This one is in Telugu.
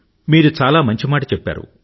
మీరు చాలా మంచి మాట చెప్పారు